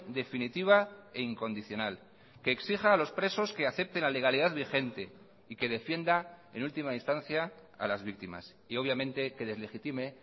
definitiva e incondicional que exija a los presos que acepten la legalidad vigente y que defienda en última instancia a las víctimas y obviamente que deslegitime